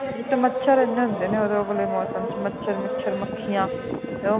ਇਕ ਤੇ ਮੱਛਰ ਇਹਨੇ ਹੁੰਦੇ ਨੇ ਉਦੋਂ ਉਸ ਵਾਲੇ ਮੌਸਮ ਦੇ ਵਿੱਚ ਮੱਛਰ ਮੱਛਰ ਮੱਖੀਆਂ ਤੇ